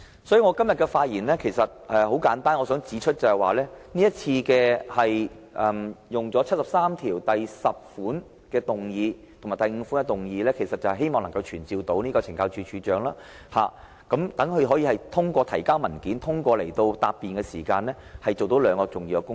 所以，我今天的發言很簡單，我想指出，今次根據第七十三條第十項及第七十三條第五項動議議案，希望能夠傳召懲教署署長，讓他通過提交文件和答辯，做到兩項重要工作。